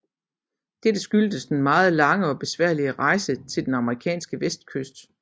Dette skyldes den meget lange og besværlige rejse til den amerikanske vestkyst